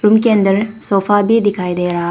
room के अंदर sofa भी दिखाई दे रहा--